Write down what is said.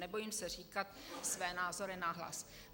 Nebojím se říkat své názory nahlas."